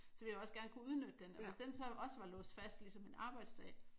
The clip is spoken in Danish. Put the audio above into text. Så vil jeg jo også gerne kunne udnytte den og hvis den så også var låst fast ligesom en arbejdsdag